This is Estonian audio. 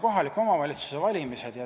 ... kohalike omavalitsuste valimised.